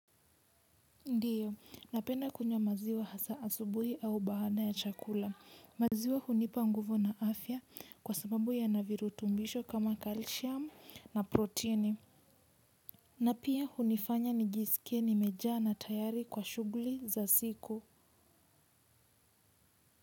Ndiyo, napenda kunywa maziwa hasa asubuhi au baada ya chakula. Maziwa hunipa nguvu na afya kwa sababu yana virutubisho kama calcium na proteini. Na pia hunifanya nijisikie nimejaa na tayari kwa shughuli za siku.